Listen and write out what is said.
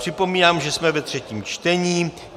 Připomínám, že jsme ve třetím čtení.